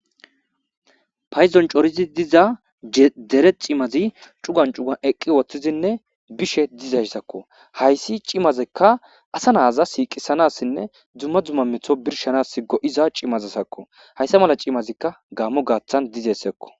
Payiddoni coratidi diza dere cimazi cugani cugani eqi uttidinne dishshe dizayisakko hayisi cimazikka ha naza siqisanasinne dumma dumma meto birishshanasi goiza iza cimazakko ha cimazikka Gamo gaththani dizayisakko